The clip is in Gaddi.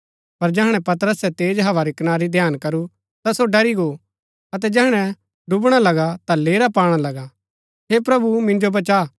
पर जैहणै पतरसै तेज हवा री कनारी ध्यान करू ता सो ड़री गो अतै जैहणै डुबणा लगा ता लेरा पाणा लगा हे प्रभु मिन्जो बचा